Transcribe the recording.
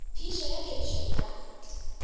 phišo ya kedišo e ka